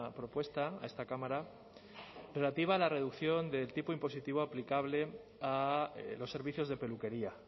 propuesta a esta cámara relativa a la reducción del tipo impositivo aplicable a los servicios de peluquería